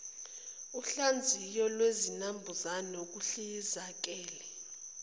uhlaziyo lwezinambuzane ukuhlizekela